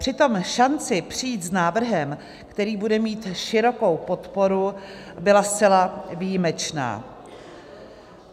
Přitom šance přijít s návrhem, který bude mít širokou podporu, byla zcela výjimečná.